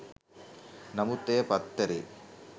නමුත් එය පත්තරේ